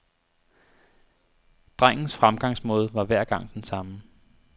Drengens fremgangsmåde var hver gang den samme.